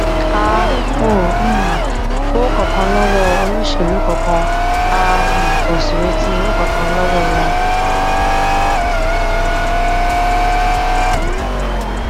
a ò um gbowó kankan lọwọ olóṣèlú kankan a um ò sì retí owó kankan lọwọ wọn